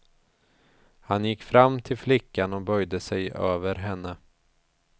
Han gick fram till flickan och böjde sig över henne.